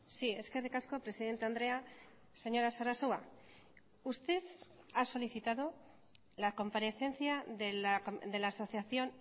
sí eskerrik asko presidente andrea señora sarasua usted ha solicitado la comparecencia de la asociación